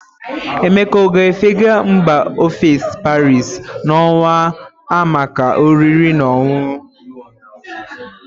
Emeka ọ ga-efega mba ofesi Paris na ọnwa a maka oriri na ọṅụṅụ?